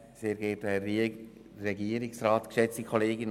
Dies vonseiten der BDP-Fraktion.